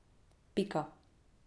Pika.